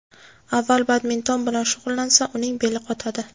Avval badminton bilan shug‘ullansa, uning beli qotadi.